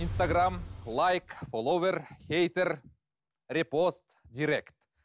инстаграмм лайк ловер хейтер респост директ